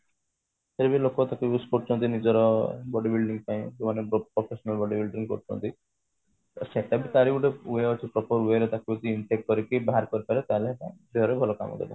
ଫିରଭି ଲୋକ ଟାକୁ use କରୁଛନ୍ତି ନିଜର body building ପାଇଁ ଯେଉଁ ମାନେ body building କରୁଛନ୍ତି ସେଟା ବି ତାର ଗୋଟେ କରିକି ବାହାର କରିଦେଲ ତାହେଲେ ଦେହରେ ଭଲ କାମ ଦେବ